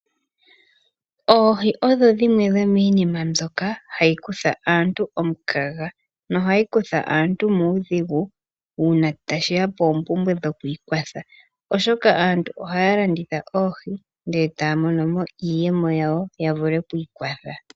Oohi odhi dhimwe dhomiinima mbyoka hayi kutha aantu omukaga nohayi kutha aantu muudhigu uuna tashiya poompumbwe dho kwiikwatha, oshoka aantu ohaya landitha oohi ndele taya mono mo iiyemo yawo ya vule okwiikwatha.